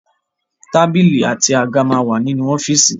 Tábìlì àti àga máa wà nínú ọ́fíìsì.